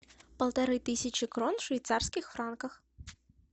полторы тысячи крон в швейцарских франках